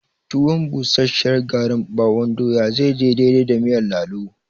Tuwon busasshiyar garin ɓawon doya zai je daidai da miyar lalo